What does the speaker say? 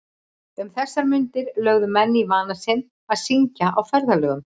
Um þessar mundir lögðu menn í vana sinn að syngja á ferðalögum.